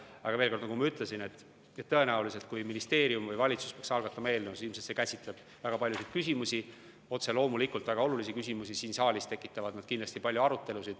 Aga veel kord, nagu ma ütlesin, kui ministeerium või valitsus peaks algatama eelnõu, siis tõenäoliselt see käsitleb väga paljusid küsimusi, otse loomulikult väga olulisi küsimusi, ja siin saalis tekitaksid need kindlasti palju arutelu.